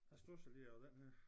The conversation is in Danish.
Jeg studsede lige over den her